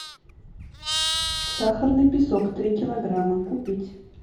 сахарный песок три килограмма купить